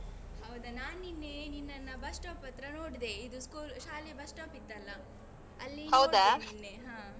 ಹೌದಾ, ನಾನ್ ನಿನ್ನೆ ನಿನ್ನನ್ನ bus stop ಹತ್ರ ನೋಡ್ದೆ ಇದು school ಶಾಲೆ bus stop ಇತ್ತಲ್ಲ, ಅಲ್ಲಿ ನೋಡ್ದೆ ನಿನ್ನೆ ಹಾ.